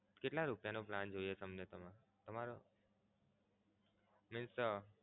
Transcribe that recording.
કેટલા રૂપિયા નો plan જોઈએ તમારે? તમારો નહીં sir